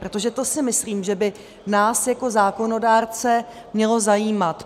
Protože to si myslím, že by nás jako zákonodárce mělo zajímat.